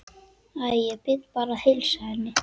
Æ, ég bið bara að heilsa henni